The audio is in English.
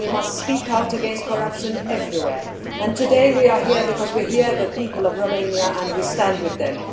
We must speak out against corruption everywhere, and today we are here because we hear the people of Romania and we stand with them.